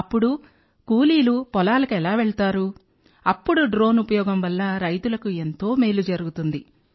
అప్పుడు కూలీలు పొలాలకు ఎలా వెళ్తారు అప్పుడు డ్రోన్ ఉపయోగం వల్ల రైతులకు ఎంతో మేలు జరుగుతుంది